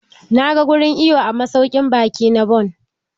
Na ga wurin iwo a masaukin baƙi na bon.